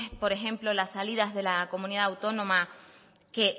por ejemplo las salidas de la comunidad autónoma que